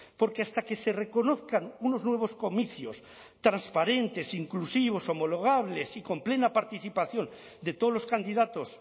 porque hasta que se reconozcan unos nuevos comicios transparentes inclusivos homologables y con plena participación de todos los candidatos